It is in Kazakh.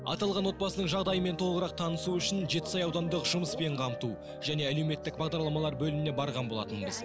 аталған отбасының жағдайымен толығырақ танысу үшін жетісай аудандық жұмыспен қамту және әлеуметтік бағдарламалар бөліміне барған болатынбыз